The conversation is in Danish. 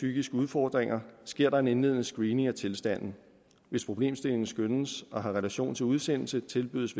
psykiske udfordringer sker der en indledende screening af tilstanden hvis problemstillingen skønnes at have relation til udsendelse tilbydes